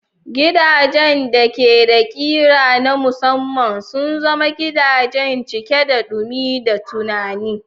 Gidajen da ke da ƙira na musamman sun zama gidaje cike da dumi da tunani.